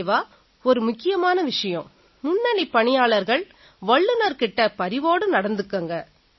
நிறைவா ஒரு முக்கியமான விஷயம் முன்னணிப் பணியாளர்கள் வல்லுநர்கள் கிட்ட பரிவோட நடந்துக்குங்க